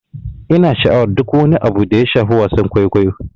Ina sha'awar duk wani abu da ya shafi wasan kwaikwayo.